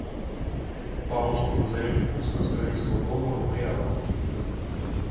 помощник назови мне курс австралийского доллара в реал